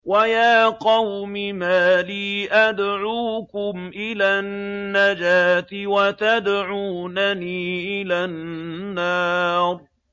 ۞ وَيَا قَوْمِ مَا لِي أَدْعُوكُمْ إِلَى النَّجَاةِ وَتَدْعُونَنِي إِلَى النَّارِ